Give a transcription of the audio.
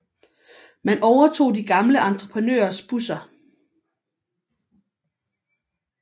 Man overtog de gamle entreprenørers busser